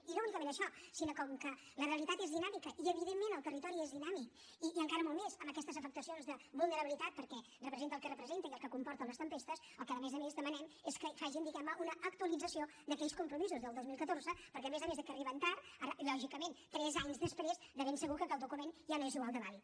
i no únicament això sinó com que la realitat és dinàmica i evidentment el territori és dinàmic i encara molt més amb aquestes afectacions de vulnerabilitat perquè representa el que representa i el que comporten les tempestes el que a més a més demanem és que facin diguem ne una actualització d’aquells compromisos del dos mil catorze perquè a més a més de que arriben tard ara lògicament tres anys després de ben segur que el document ja no és igual de vàlid